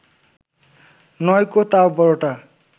নয়কো তাও বড়টা